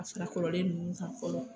A furakɔrɔlen ninnu san fɔlɔ.